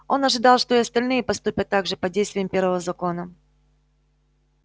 он ожидал что и остальные поступят так же под действием первого закона